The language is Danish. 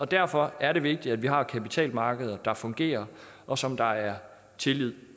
derfor er det vigtigt at vi har kapitalmarkeder der fungerer og som der er tillid